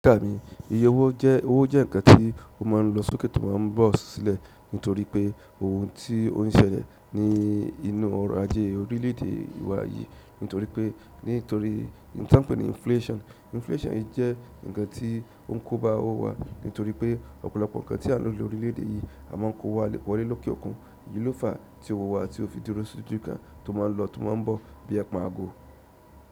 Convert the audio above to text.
Rí kà mi, iye owó jẹ́, owó jẹ́ nǹkan tí ó máa n lọ sókè tó máa n bọ̀ sílẹ̀ nítorí pé ohun tí ó n ṣẹlẹ̀ ní inú ọrọ̀ ajé orílẹ̀ èdè wa yìí, nítorí pé nítorí ohun tí wọ́n ń pè ní inflation. Inflation jẹ́ nǹkan tí ó n kóba owó wa nítorí pé ọ̀pọ̀lọpọ̀ nǹkan tí a n lò ní orílẹ̀ èdè yìí a máa n kó wá wọlé lókè òkun, yìí ló fa tí owó wa tí ò fi dúró sójú kan, tó máa n lọ tó máa n bọ̀ bíi ẹpọ̀n aago.